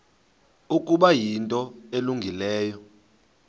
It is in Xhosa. ukuba yinto elungileyo